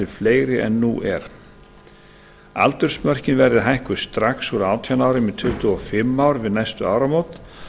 fleiri en nú er aldursmörkin verði hækkuð strax úr átján árum í tuttugu og fimm ár við næstu áramót